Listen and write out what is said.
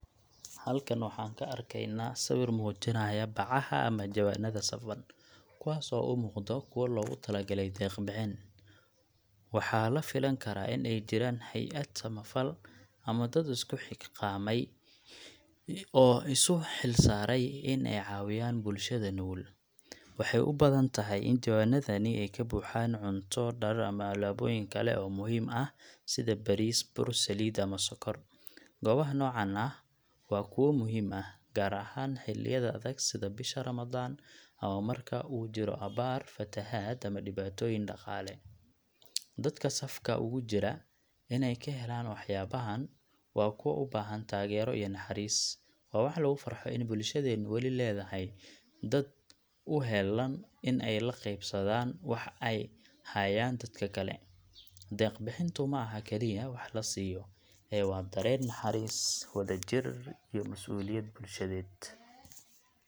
Halkan waxaan ka arkeynaa sawir muujinaya bacaha ama jawaanada safan, kuwaas oo u muuqdo kuwo loogu talagalay deeq bixin. Waxaa la filan karaa in ay jiraan hay’ad samafal ama dad isku xilqaamay oo isu xilsaaray in ay caawiyaan bulshada nugul. Waxay u badan tahay in jawaanadani ay ka buuxaan cunto, dhar, ama alaabooyin kale oo muhiim ah sida bariis, bur, saliid ama sokor. Goobaha noocan ah waa kuwo muhiim ah, gaar ahaan xilliyada adag sida bisha Ramadaan, ama marka uu jiro abaar, fatahaad, ama dhibaatooyin dhaqaale. Dadka safka ugu jira inay ka helaan waxyaabahan waa kuwa u baahan taageero iyo naxariis. Waa wax lagu farxo in bulshadeenu weli leedahay dad u heellan in ay la qaybsadaan waxa ay hayaan dadka kale. Deeq bixintu ma aha kaliya wax la siiyo, ee waa dareen naxariis, wadajir iyo masuuliyad bulshadeed.